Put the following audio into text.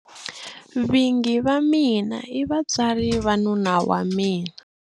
Vingi va mina i vatswari va nuna wa mina.